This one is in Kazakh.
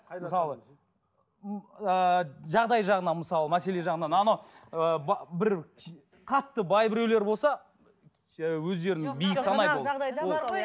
мысалы ыыы жағдай жағынан мысалы мәселе жағынан ана ыыы бір қатты бай біреулер болса